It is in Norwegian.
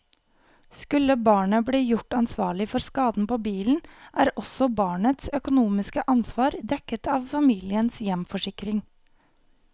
Skulle barnet bli gjort ansvarlig for skaden på bilen, er også barnets økonomiske ansvar dekket av familiens hjemforsikring.